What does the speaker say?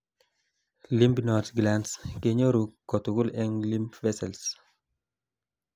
lymph nodes glands kenyoru katugul en lymph vessels